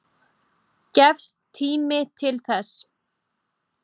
Gefst tími til þess?